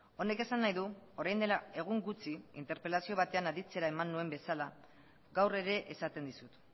honek esan nahi du orain dela egun gutxi interpelazio batean aditzera eman nuen bezala gaur ere esaten dizut